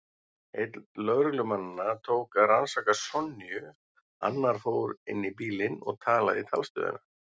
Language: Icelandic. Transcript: Einn lögreglumannanna tók að rannsaka Sonju, annar fór inn í bílinn og talaði í talstöðina.